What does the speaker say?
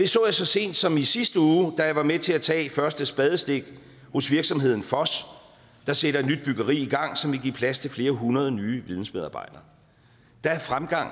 så det så sent som i sidste uge da jeg var med til at tage første spadestik hos virksomheden foss der sætter et nyt byggeri i gang som vil give plads til flere hundrede nye vidensmedarbejdere der er fremgang